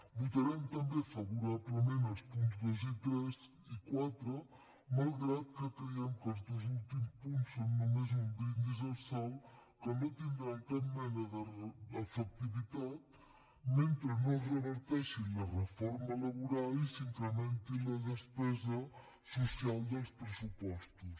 votarem també favorablement els punts dos tres i quatre malgrat que creiem que els dos últims punts són només un brindis al sol que no tindran cap mena d’efectivitat mentre no es reverteixi la reforma laboral i s’incrementi la despesa social dels pressupostos